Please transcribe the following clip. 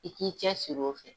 I k'i cɛ sir'o fɛ.